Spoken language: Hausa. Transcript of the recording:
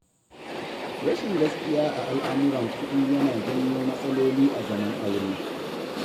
Rashin gaskiya a al'amuran kuɗi yana janyo matsaloli a zaman aure.